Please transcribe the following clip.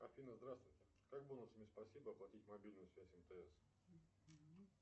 афина здравствуйте как бонусами спасибо оплатить мобильную связь мтс